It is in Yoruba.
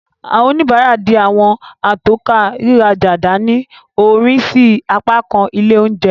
Awọn onibara, dì awọn atokọ riraja dani, orin sí apakan ile oúnjẹ.